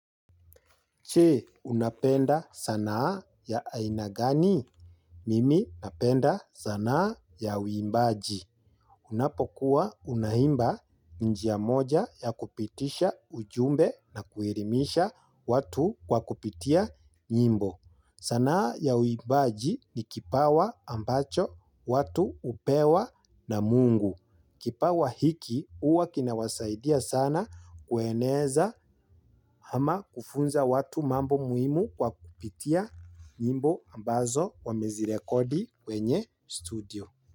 Je unapenda sanaa ya aina gani? Mimi napenda sanaa ya wimbaji. Unapokuwa unaimba ni njia moja ya kupitisha ujumbe na kuelimisha watu kwa kupitia nyimbo. Sanaa ya uimbaji ni kipawa ambacho watu hupewa na mungu. Kipawa hiki huwa kinawasaidia sana kueneza ama kufunza watu mambo muhimu kwa kupitia nyimbo ambazo wamezirekodi kwenye studio.